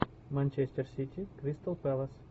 манчестер сити кристал пэлас